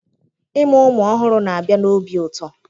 Ịmụ ụmụ ọhụrụ na-abịa na obi ụtọ